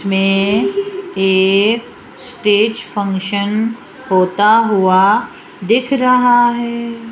मे एक stage function होता हुआ दिख रहा है।